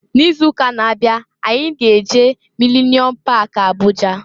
N'izuụka na-abịa anyị ga-eje Milenium pak Abụja.